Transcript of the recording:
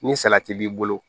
Ni salati b'i bolo